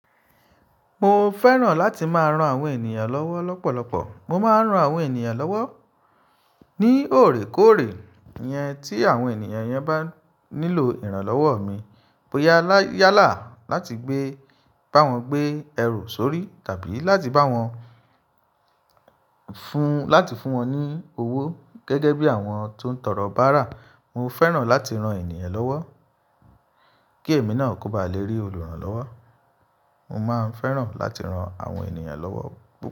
Mo fẹ́ràn láti máa rán àwọn ènìyàn lọ́wọ́ lọ́pọ̀lọpọ̀. Mo máa ń rán àwọn ènìyàn lọ́wọ́ ní òrékọ́ọ̀rè iyẹn tí àwọn ènìyàn yẹn bá nílò ìrànlọ́wọ́ mi. Bo yá yálà láti gbé bá wọn gbé ẹrù sórí tàbí láti bá wọn fún láti fún wọn ní owó gẹ́gẹ́ bí àwọn tó ń tọrọ bárà. Mo fẹ́ràn láti rán ènìyàn lọ́wọ́ kí èmi náà kò bá lè rí olùrànlọ́wọ́. Mo máa ń fẹ́ràn láti rán àwọn ènìyàn lọ́wọ́